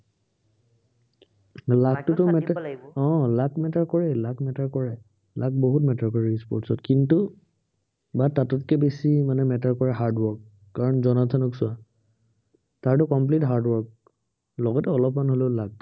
আহ luck matter কৰে luck matter কৰে। luck বহুত matter কৰে e-sports ত। কিন্তু বা তাতোতকৈ বেছি মানে matter কৰে hard work । কাৰন জনাৰ্ধনক চোৱা তাৰটো complete hard work লগতে অলপমান হলেও luck